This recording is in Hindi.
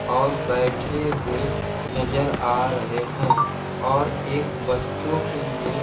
और बैठे हुए नजर आ रहे हैं और एक बच्चों के लिए--